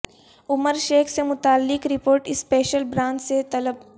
عمر شیخ سے متعلق report special branch سے طلب